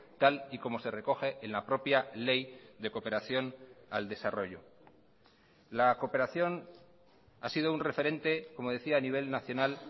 tal y como se recoge en la propia ley de cooperación al desarrollo la cooperación ha sido un referente como decía a nivel nacional